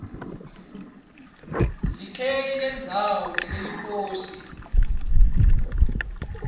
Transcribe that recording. likheli lendzawo neleliposi